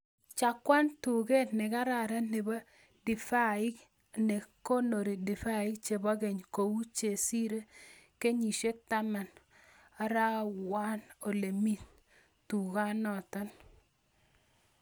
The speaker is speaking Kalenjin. Cheng'wan tuket negararan nebo divaik ne konori divaik chebo keny kou chesire kenyishek taman arorwan olemi tukanatan